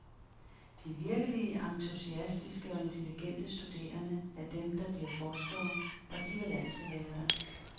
De virkelige entusiastiske og intelligente studerende er dem, der bliver forskere, og de vil altid være der.